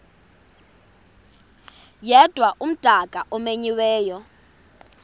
yedwa umdaka omenyiweyo